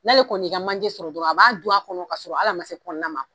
N'ale kɔni y'i ka manje sɔrɔ dɔrɔn a b'a dun a kɔnɔ ka ɔrɔ hali a ma se kɔnɔna ma